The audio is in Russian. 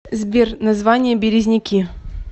сбер название березники